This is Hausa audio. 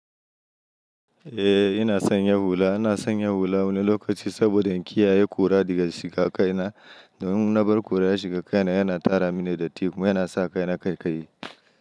Eh ina sanya hula, ina sanya hula wani lokaci saboda in kiyaye ƙura daga shiga kai na. Don na bar ƙura ya shiga kai na yana tara mini datti kuma yana sa kai na kaikayi.